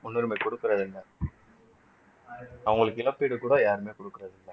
முன்னுரிமை கொடுக்கிறது இல்லை அவங்களுக்கு இழப்பீடு கூட யாருமே கொடுக்கிறது இல்லை